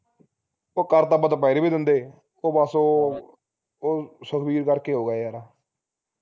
ਉਹ ਕਰ ਤਾ ਆਪਾ ਦੁਪਹਿਰੇ ਵੀ ਦਿੰਦੇ ਉਹ ਬਸ ਉਹ ਉਹ ਸੁਖਬੀਰ ਕਰਕੇ ਹੋ ਗਿਆ ਯਾਰਾ